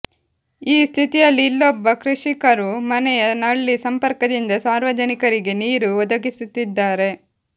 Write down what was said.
ಈ ಸ್ಥಿತಿಯಲ್ಲಿ ಇಲ್ಲೊಬ್ಬ ಕೃಷಿಕರು ಮನೆಯ ನಳ್ಳಿ ಸಂಪರ್ಕದಿಂದ ಸಾರ್ವಜನಿಕರಿಗೆ ನೀರು ಒದಗಿಸುತ್ತಿದ್ದಾರೆ